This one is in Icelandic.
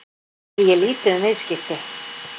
Því er lítið um viðskipti